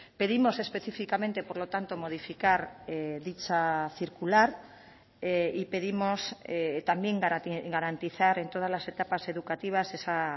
pedimos específicamente por lo tanto modificar dicha circular y pedimos también garantizar en todas las etapas educativas esa